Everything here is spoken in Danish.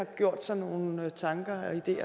gjort sig nogle tanker